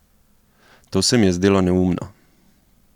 To se mi je zdelo neumno.